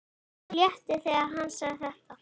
Mér létti þegar hann sagði þetta.